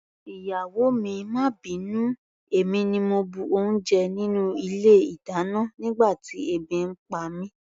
Ìyàwó mi, má bínú, èmi ni mo bu oúnjẹ nínú ilé-ìdáná nígbà tí ebi ń pa mí.